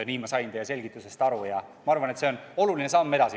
Nii sain ma teie selgitusest aru ja ma arvan, et see on oluline samm edasi.